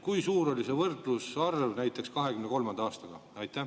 Kui suur on see võrdlusarv näiteks 2023. aastaga?